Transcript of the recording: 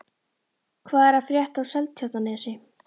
Hvað er að frétta af Seltjarnarnesi?